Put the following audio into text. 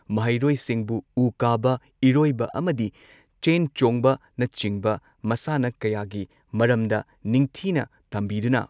ꯃꯍꯩꯔꯣꯏꯁꯤꯡꯕꯨꯨ ꯎ ꯀꯥꯕ, ꯏꯔꯣꯏꯕ ꯑꯃꯗꯤ ꯆꯦꯟ ꯆꯣꯡꯕꯅꯆꯤꯡꯕ ꯃꯁꯥꯟꯅ ꯀꯌꯥꯒꯤ ꯃꯔꯝꯗ ꯅꯤꯡꯊꯤꯅ ꯇꯝꯕꯤꯗꯨꯅ